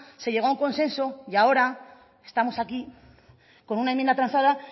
se llegó a un consenso y ahora estamos aquí con una enmienda transada